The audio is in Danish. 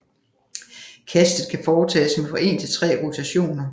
Kastet kan foretages med fra en til tre rotationer